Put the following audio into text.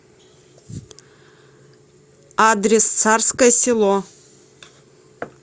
адрес царское село